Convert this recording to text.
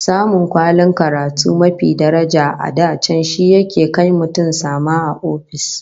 Samun kwalin karatu mafi daraja a da can shi yake kai mutum sama a ofis